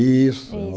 Isso.